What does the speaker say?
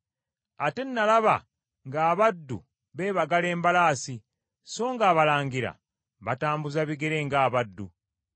Ate nalaba ng’abaddu beebagala embalaasi, songa abalangira batambuza bigere ng’abaddu.